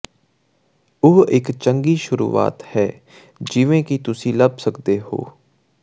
ਉਹ ਇੱਕ ਚੰਗੀ ਸ਼ੁਰੂਆਤ ਹੈ ਜਿਵੇਂ ਕਿ ਤੁਸੀਂ ਲੱਭ ਸਕਦੇ ਹੋ